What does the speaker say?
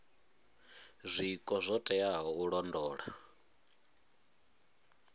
zwiko zwo teaho u londola